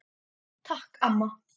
Takk amma.